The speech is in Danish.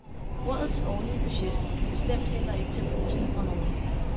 Rådets årlige budget kan bestemt heller ikke tage pusten fra nogen.